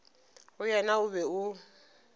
go yena o be o